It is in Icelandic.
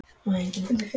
Sko, ég heyri það á þér